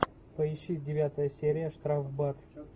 поищи девятая серия штрафбат